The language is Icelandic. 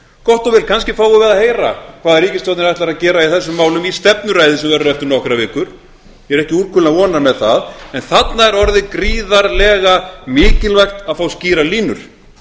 gott og vel kannski fáum við að heyra hvað ríkisstjórnin ætlar að gera í þessum málum í stefnuræðu sem verður eftir nokkrar vikur ég er ekki úrkula vonar með það en þarna er orðið gríðarlega mikilvægt að fá skýrar línur